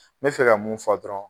N mɛ fɛ ka mun fɔ dɔrɔn